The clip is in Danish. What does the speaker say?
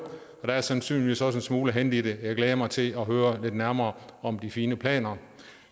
og der er sandsynligvis også en smule at hente i det jeg glæder mig til at høre lidt nærmere om de fine planer